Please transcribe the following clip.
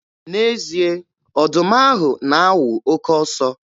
N'ezie, ọdụm ahụ na-awụ oke ọsọ.